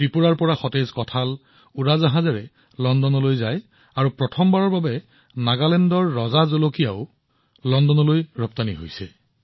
ত্ৰিপুৰাৰ পৰা সতেজ কঁঠাল বিমানেৰে লণ্ডনলৈ ৰপ্তানি কৰা হৈছিল আৰু প্ৰথমবাৰৰ বাবে নাগালেণ্ডৰ ৰজা জলকীয়াক লণ্ডনলৈ প্ৰেৰণ কৰা হৈছিল